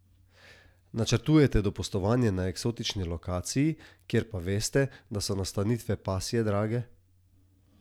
Načrtujete dopustovanje na eksotični lokaciji, kjer pa veste, da so nastanitve pasje drage?